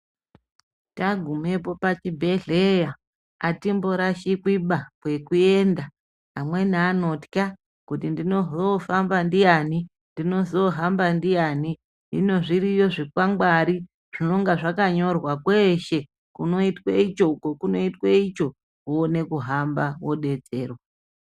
Tagumepo pachibhedhleya atimborashikwiba kwekuenda amweni anotywa kuti ndizohamba ndiyani hino zviriyo zvikwangwani zvinonga zvakanyorwa kweshe kunoitwa icho, uko kunoitwe icho woone kuhamba wodetserwa.